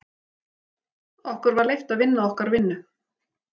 Okkur var leyft að vinna okkar vinnu.